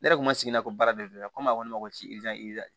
Ne yɛrɛ kun ma sigi n'a ko baara de do ne ko a ko ne ma ko